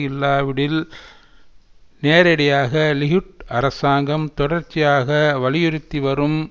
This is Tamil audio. இல்லாவிடில் நேரடியாக லிகுட் அரசாங்கம் தொடர்ச்சியாக வலியுறுத்திவரும்